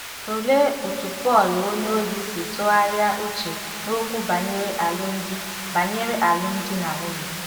Tụlee otú Pọl onyeozi si tụgharịa uche n'okwu banyere alụmdi banyere alụmdi na nwunye.